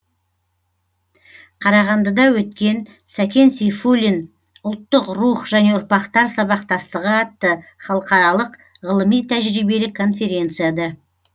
қарағандыда өткен сәкен сейфуллин ұлттық рух және ұрпақтар сабақтастығы атты халықаралық ғылыми тәжірибелік конференцияда